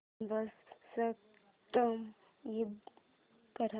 subscribe कर